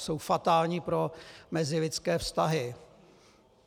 Jsou fatální pro mezilidské vztahy.